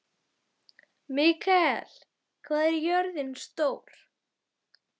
Mikael, hvað er jörðin stór?